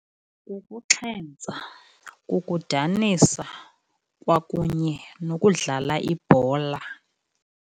Kukuxhentsa, kukudanisa, kwakunye nokudlala ibhola.